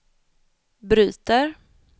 bryter